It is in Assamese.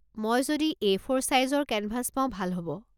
মই যদি এ.ফ'ৰ ছাইজৰ কেনভাছ পাও ভাল হ'ব।